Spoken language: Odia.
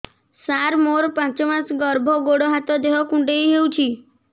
ସାର ମୋର ପାଞ୍ଚ ମାସ ଗର୍ଭ ଗୋଡ ହାତ ଦେହ କୁଣ୍ଡେଇ ହେଉଛି